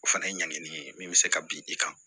O fana ye ɲangili ye min bɛ se ka bin i kan